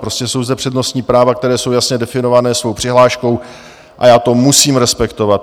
Prostě jsou zde přednostní práva, která jsou jasně definovaná svou přihláškou, a já to musím respektovat.